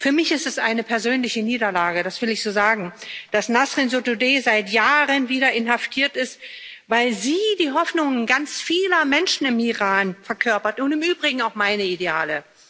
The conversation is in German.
Für mich ist es eine persönliche Niederlage das will ich so sagen dass Nasrin Sotudeh seit Jahren wieder inhaftiert ist, weil sie die Hoffnungen ganz vieler Menschen im Iran verkörpert und im Übrigen auch meine Ideale.